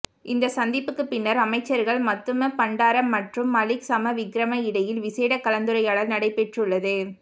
இந்த சந்திப்புக்கு பின்னர் அமைச்சர்கள் மத்துமபண்டார மற்றும் மலிக் சமரவிக்ரம இடையில் விசேட கலந்துரையாடல் நடைபெற்றுள்ளது